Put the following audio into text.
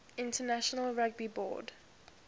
international rugby board